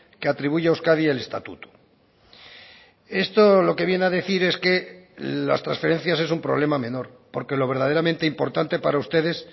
que atribuye a euskadi el estatuto esto lo que viene a decir es que las transferencias es un problema menor porque lo verdaderamente importante para ustedes